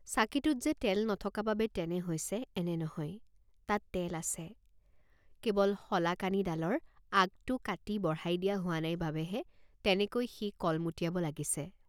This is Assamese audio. চাকিটোত যে তেল নথকা বাবে তেনে হৈছে এনে নহয়, তাত তেল আছে, কেৱল সলাকানি ডালৰ আগটো কাটি বঢ়াই দিয়া হোৱা নাই বাবেহে তেনেকৈ সি কলমুটিয়াব লাগিছে।